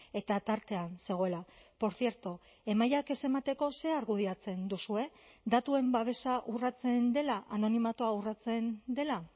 eta tartean zegoela por cierto emailak ez emateko ze argudiatzen duzue datuen babesa urratzen dela anonimatua urratzen dela